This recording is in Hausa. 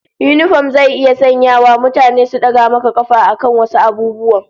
Yinifom zai iya sanyawa mutane su daga maka kafa akan wasu abubuwan